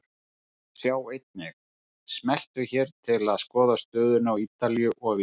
Sjá einnig: Smelltu hér til að skoða stöðuna á Ítalíu og víðar.